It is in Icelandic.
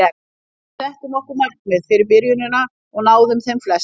Við settum okkur markmið fyrir byrjunina og náðum þeim flestum.